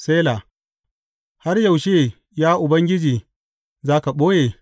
Sela Har yaushe, ya Ubangiji za ka ɓoye?